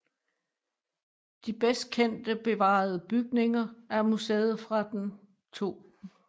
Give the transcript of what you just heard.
De bedst kendt bevarede bygninger er museet fra den 2